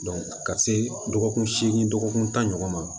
ka se dɔgɔkun seegin dɔgɔkun tan ɲɔgɔn ma